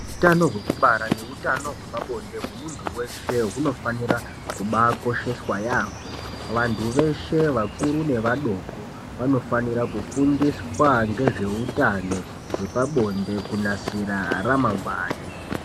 Utano hwekubara neutano hwepabonde hwemuntu weshe hunofanira kubaakosheswa yaamho. Vantu veshe vakuru nevadoko vanofanira kufundiswa ngezveutano hwepabonde kunasira ramangwani.